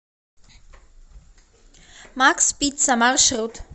макс пицца маршрут